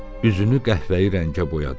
Üzünü qəhvəyi rəngə boyadı.